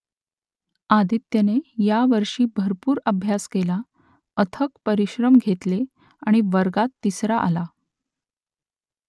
आदित्यने यावर्षी भरपूर अभ्यास केला अथक परिश्रम घेतले आणि वर्गात तिसरा आला